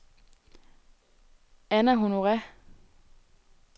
Anna Honore